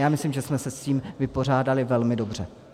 Já myslím, že jsme se s tím vypořádali velmi dobře.